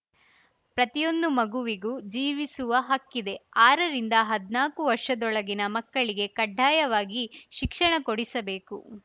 ಪ್ರತಿಯೊಂದು ಮಗುವಿಗೂ ಜೀವಿಸುವ ಹಕ್ಕಿದೆ ಆರರಿಂದ ಹದ್ನಾಕು ವರ್ಷದೊಳಗಿನ ಮಕ್ಕಳಿಗೆ ಕಡ್ಡಾಯವಾಗಿ ಶಿಕ್ಷಣ ಕೊಡಿಸಬೇಕು